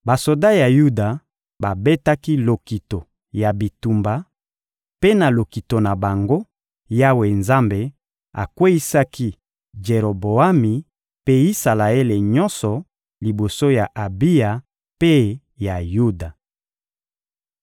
Basoda ya Yuda babetaki lokito ya bitumba; mpe na lokito na bango, Yawe Nzambe akweyisaki Jeroboami mpe Isalaele nyonso liboso ya Abiya mpe ya Yuda.